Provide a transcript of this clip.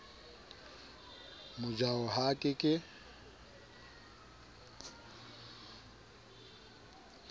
mojaho ha a ke ke